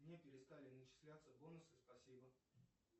мне перестали начисляться бонусы спасибо